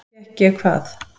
Fékk ég hvað?